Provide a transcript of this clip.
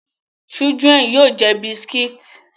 Chidlren yoo jẹ buscits